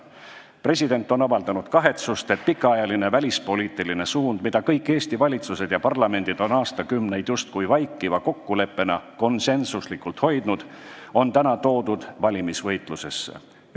President on avaldanud kahetsust, et see pikaajaline välispoliitiline suund, mida kõik Eesti valitsused ja parlamendid on aastakümneid justkui vaikiva kokkuleppena konsensuslikult hoidnud, on valimisvõitlusesse toodud.